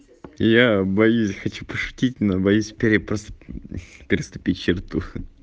я боюсь хочу пошутить но боюсь пере посту переступить черту